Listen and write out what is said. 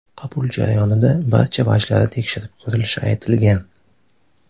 Qabul jarayonida barcha vajlari tekshirib ko‘rilishi aytilgan.